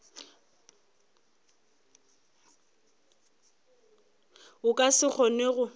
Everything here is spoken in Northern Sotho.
o ka se kgone go